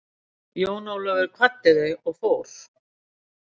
Jón Ólafur kvaddi þau og fór.